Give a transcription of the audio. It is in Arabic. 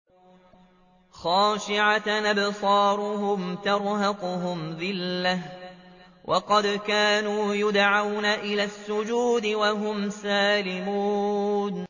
خَاشِعَةً أَبْصَارُهُمْ تَرْهَقُهُمْ ذِلَّةٌ ۖ وَقَدْ كَانُوا يُدْعَوْنَ إِلَى السُّجُودِ وَهُمْ سَالِمُونَ